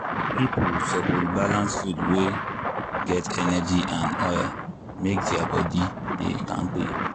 people suppose balance food wey get energy and oil make their body dey kampe.